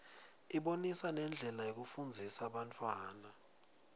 ibonisa nendlela yokufundzisa bantfwana